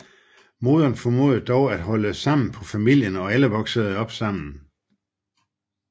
Moderen formåede dog at holde sammen på familien og alle voksede op sammen